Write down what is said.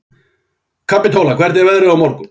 Kapítóla, hvernig er veðrið á morgun?